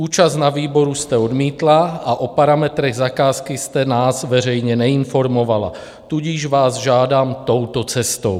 Účast na výboru jste odmítla a o parametrech zakázky jste nás veřejně neinformovala, tudíž vás žádám touto cestou.